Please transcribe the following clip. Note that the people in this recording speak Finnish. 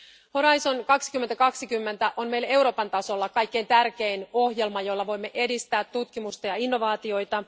Horisontti 2020 on meille Euroopan tasolla kaikkein tärkein ohjelma, jolla voimme edistää tutkimusta ja innovaatioita.